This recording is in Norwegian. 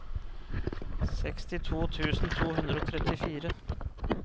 sekstito tusen to hundre og trettifire